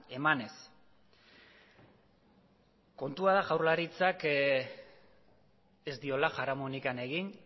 emanez kontua da jaurlaritzak ez diola jaramonik egin